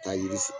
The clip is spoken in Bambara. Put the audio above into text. Ka yiri